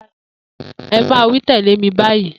E̩ é̩ máa wí tè̩lé mi báyìí!